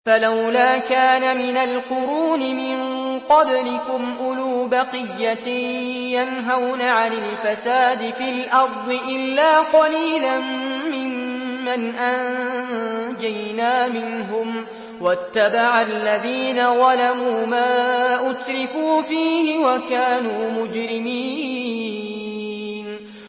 فَلَوْلَا كَانَ مِنَ الْقُرُونِ مِن قَبْلِكُمْ أُولُو بَقِيَّةٍ يَنْهَوْنَ عَنِ الْفَسَادِ فِي الْأَرْضِ إِلَّا قَلِيلًا مِّمَّنْ أَنجَيْنَا مِنْهُمْ ۗ وَاتَّبَعَ الَّذِينَ ظَلَمُوا مَا أُتْرِفُوا فِيهِ وَكَانُوا مُجْرِمِينَ